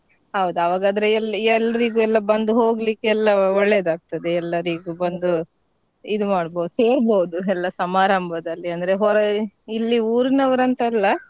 ಹೌದ್ ಆವಾಗಾದ್ರೆ ಎಲ್~ ಎಲ್ರಿಗೂ ಎಲ್ಲ ಬಂದು ಹೋಗ್ಲಿಕ್ಕೆ ಎಲ್ಲಾ ಒಳ್ಳೇದಾಗ್ತದೆ ಎಲ್ಲಾರಿಗೂ ಬಂದು ಇದ್ ಮಾಡ್ಬೌದ್ ಸೇರ್ಬೌದು ಎಲ್ಲಾ ಸಮಾರಂಭದಲ್ಲಿ ಅಂದ್ರೆ ಹೊಯ್~ ಊರಿನವರಂತಲ್ಲ.